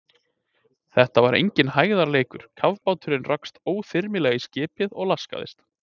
Þetta var enginn hægðarleikur, kafbáturinn rakst óþyrmilega í skipið og laskaðist.